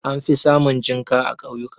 An fi samun jinƙa a ƙauyuka.